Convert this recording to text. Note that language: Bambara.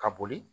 Ka boli